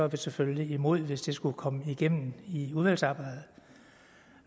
vi selvfølgelig er imod hvis det skulle komme igennem i udvalgsarbejdet